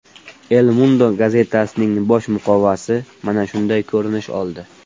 El Mundo gazetasining bosh muqovasi mana shunday ko‘rinish oldi: !